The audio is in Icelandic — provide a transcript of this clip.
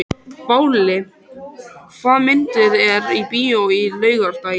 Váli, hvaða myndir eru í bíó á laugardaginn?